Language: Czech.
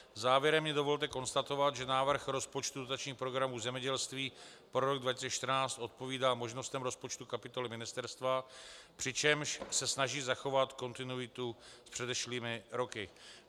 Závěrem mi dovolte konstatovat, že návrh rozpočtu dotačních programů zemědělství pro rok 2014 odpovídá možnostem rozpočtu kapitoly ministerstva, přičemž se snaží zachovat kontinuitu s předešlými roky.